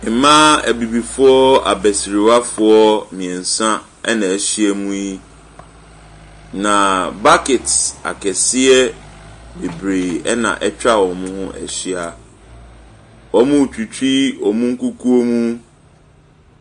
Mmaa abibifoɔ abɛsiriwafoɔ mmiɛnsa ɛna ɛhyia mu yi. Na bucket akɛseɛ bebree na ɛtwa wɔn ho ɛhyia. Wɔretwitwi wɔn nkukuo mu.